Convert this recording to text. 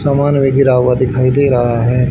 सामान भी गिरा हुआ दिखाई दे रहा है।